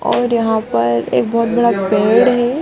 और यहाँ पर एक बहुत बड़ा पैर है |